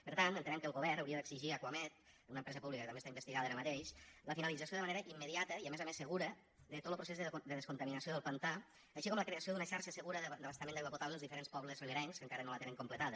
per tant entenem que el govern hauria d’exigir a acuamed una empresa pública que també està investigada ara mateix la finalització de manera immediata i a més a més segura de tot lo procés de descontaminació del pantà així com la creació d’una xarxa segura d’abastament d’aigua potable als diferents pobles riberencs que encara no la tenen completada